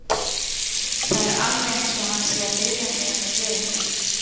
Það er alveg eins og hann sé að biðja mig um að gera eitthvað.